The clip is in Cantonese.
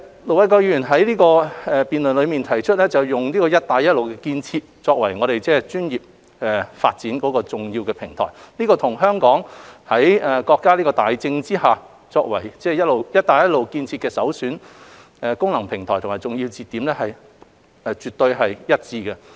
盧偉國議員在辯論中提出，利用"一帶一路"建設作為專業發展的重要平台。這與香港在國家大政策下，作為"一帶一路"建設的首選功能平台和重要節點絕對一致。